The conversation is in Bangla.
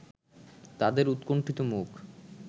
তাদের উৎকণ্ঠিত মুখ